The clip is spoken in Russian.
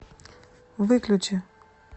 выключи